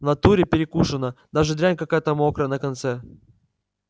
в натуре перекушена даже дрянь какая-то мокрая на конце